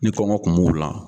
Ni kɔngɔ tun b'u la